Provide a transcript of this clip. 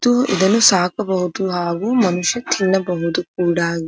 ಇದು ಇದನ್ನು ಸಾಕಬಹುದು ಹಾಗು ಮನುಷ್ಯ ತಿನ್ನಬಹುದು ಕೂಡ.